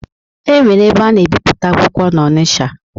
Enwere ebe ana ebipụta akwụkwọ na-Ọnicha.